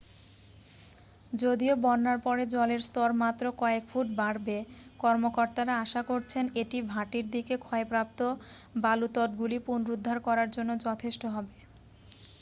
যদিও বন্যার পরে জলের স্তর মাত্র কয়েক ফুট বাড়বে কর্মকর্তারা আশা করছেন এটি ভাটির দিকে ক্ষয়প্রাপ্ত বালুতটগুলি পুনরুদ্ধার করার জন্য যথেষ্ট হবে